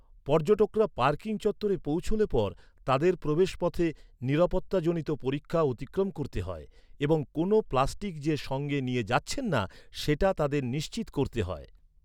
পর্যটকরা পার্কিং চত্বরে পৌঁছলে পর তাদের প্রবেশপথে নিরাপত্তাজনিত পরীক্ষা অতিক্রম করতে হয় এবং কোনোও প্লাস্টিক যে সঙ্গে নিয়ে যাচ্ছেন না সেটা তাদের নিশ্চিত করতে হয়।